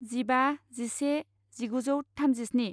जिबा जिसे जिगुजौ थामजिस्नि